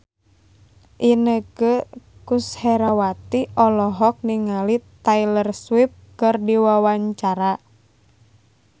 Inneke Koesherawati olohok ningali Taylor Swift keur diwawancara